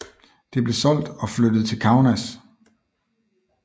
Det blev solgt og flyttet til Kaunas